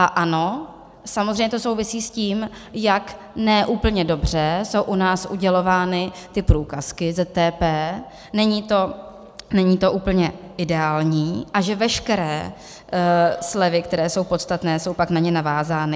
A ano, samozřejmě to souvisí s tím, jak ne úplně dobře jsou u nás udělovány ty průkazky ZTP, není to úplně ideální, a že veškeré slevy, které jsou podstatné, jsou pak na ně navázány.